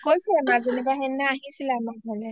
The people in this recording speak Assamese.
অ কৈছে সেইদিনা মজনি বা আহিছিলে আমাৰ ঘৰলৈ